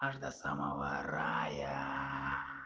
аж до самого рая